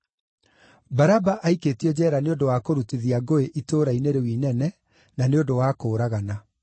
Baraba aikĩtio njeera nĩ ũndũ wa kũrutithia ngũĩ itũũra-inĩ rĩu inene, na nĩ ũndũ wa kũũragana.)